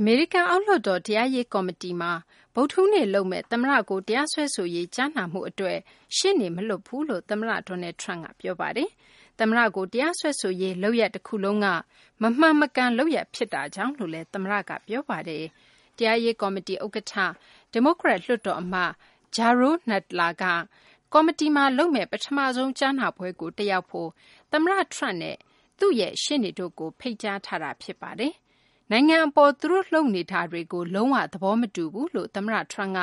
အမေရိကန် အောက်လွှတ်တော် တရားရေး ကော်မတီမှာ ဗုဒ္ဓဟူးနေ့ လုပ်မယ့် သမ္မတကို တရားစွဲဆိုရေး ကြားနာမှုမှာ ရှေ့နေမလွှတ်ဘူးလို့ သမ္မတ Donald Trump က ပြောဆိုလိုက်ပါတယ်။ သမ္မတကို တရားစွဲဆိုရေး လုပ်ရပ် တခုလုံးက မမှန်မကန် လုပ်ရပ်ဖြစ်တာကြောင့် လို့လည်း သမ္မတက ပြောပါတယ်။ တရားရေး ကော်မတီ ဥက္ကဌ ဒီမိုကရက် လွှတ်တော် အမတ် Jerrold Nadler က ကော်မတီက လုပ်မယ့် ပထမဆုံး ကြားနာပွဲကို တက်ရောက်ဖို့ သမ္မတ Trump နဲ့ သူ့ရဲ့ ရှေ့နေတို့ကို ဖိတ်ကြားထားတာ ဖြစ်ပါတယ်။ နိုင်ငံ အပေါ် သူတို့ လုပ်နေတာတွေကို လုံး၀ သဘောမတူဘူးလို့ သမ္မတ Trump က